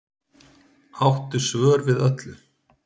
Áttu svör við öllu